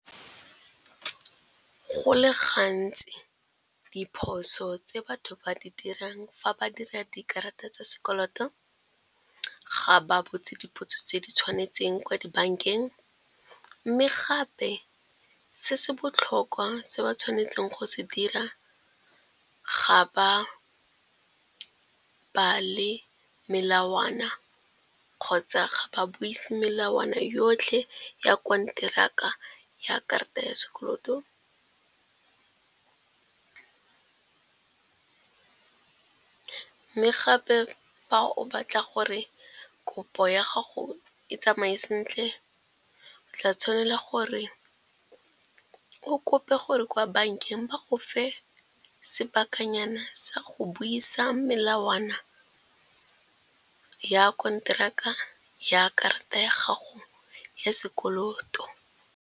Go le gantsi diphoso tse batho ba di dirang fa ba dira dikarata tsa sekoloto, ga ba botse dipotso tse di tshwanetseng kwa dibankeng. Mme gape se se botlhokwa se ba tshwanetseng go se dira ga ba bale melawana kgotsa ga ba buise melawana yotlhe ya konteraka ya karata ya sekoloto. Mme gape fa o batla gore kopo ya gago e tsamaye sentle tla tshwanela gore o kope gore kwa bankeng ba go fa sebakanyana sa go buisa melawana ya konteraka ya karata ya gago ya sekoloto.